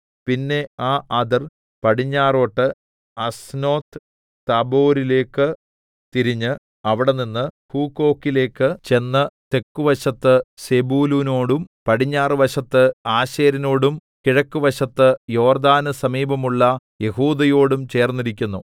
പിന്നെ ആ അതിർ പടിഞ്ഞാറോട്ട് അസ്നോത്ത്താബോരിലേക്ക് തിരിഞ്ഞ് അവിടെനിന്ന് ഹൂക്കോക്കിലേക്ക് ചെന്ന് തെക്കുവശത്ത് സെബൂലൂനോടും പടിഞ്ഞാറുവശത്ത് ആശേരിനോടും കിഴക്കുവശത്ത് യോർദ്ദാന് സമീപമുള്ള യെഹൂദയോടും ചേർന്നിരിക്കുന്നു